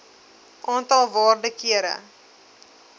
aantal waarde kere